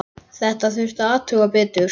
Þetta þurfti að athuga betur.